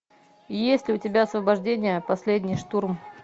есть ли у тебя освобождение последний штурм